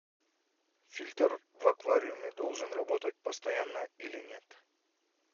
фильтр в аквариуме должен работать постоянно или нет